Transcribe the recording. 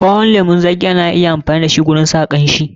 Ɓawon lemun zaƙi ana iya amfani da shi wajen sa kanshi.